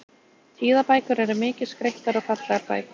Tíðabækur eru mikið skreyttar og fallegar bækur.